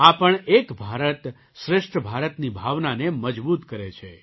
આ પણ એક ભારત શ્રેષ્ઠ ભારતની ભાવનાને મજબૂત કરે છે